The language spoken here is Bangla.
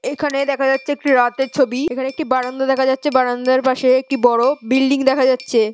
এখানে দেখা যাচ্ছে একটি রাতের ছবি। এখানে একটি বারান্দা দেখা যাচ্ছে। বারান্দার পাশে একটি বড় বিল্ডিং দেখা যাচ্ছে।